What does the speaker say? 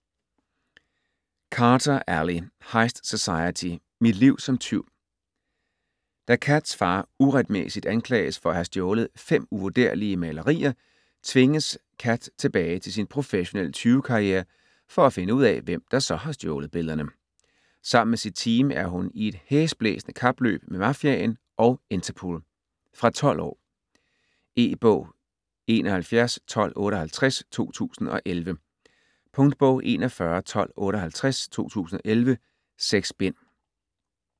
Carter, Ally: Heist Society: Mit liv som tyv Da Kats far uretmæssigt anklages for at have stjålet 5 uvurderlige malerier, tvinges Kat tilbage til sin professionelle tyvekarriere for at finde ud af hvem, der så har stjålet billederne. Sammen med sit team er hun i et hæsblæsende kapløb med mafiaen og Interpol. Fra 12 år. E-bog 711258 2011. Punktbog 411258 2011. 6 bind.